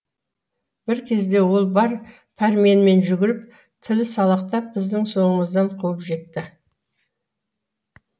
бір кезде ол бар пәрменімен жүгіріп тілі салақтап біздің соңымыздан қуып жетті